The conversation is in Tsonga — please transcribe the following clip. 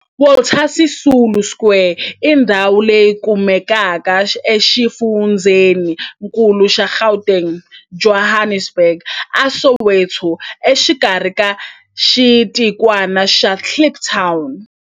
Walter Sisulu Square i ndhawu leyi kumekaka exifundzheni-nkulu xa Gauteng, Johannesburg, a Soweto, exikarhi ka xitikwana xa Kliptown.